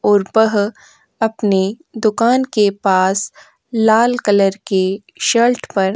और पह अपनी दुकान के पास लाल कलर के शर्ट पर --